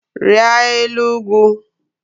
Rịa elu ugwu!